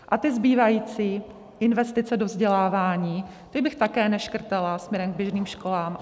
A ty zbývající investice do vzdělávání, ty bych také neškrtala směrem k běžným školám.